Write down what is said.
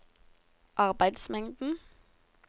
arbeidsmengden